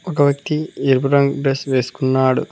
ఒక వ్యక్తి ఎరుపు రంగు డ్రెస్ వేసుకున్నాడు.